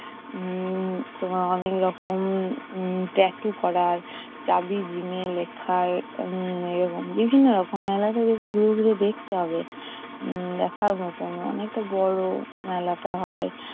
উম তোমার অনেক রকম উম tatoo করার লেখায় উম এরকম, বিভিন্ন রকম। মেলাটাকে ঘুরে ঘুরে দেখতে হবে। উম দেখার মতন। অনেকটা বড় মেলাটা হয়।